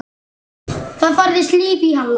Það færðist líf í Halla.